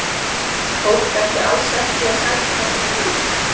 Fólk ætti alls ekki að sækjast eftir því.